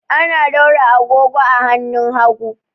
Ana daura agogo a hannun hagu.